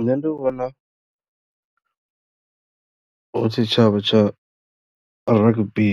Nṋe ndi vhona hu tshitshavha tsha rugby,